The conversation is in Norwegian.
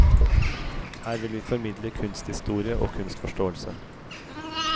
Her vil vi formidle kunsthistorie og kunstforståelse.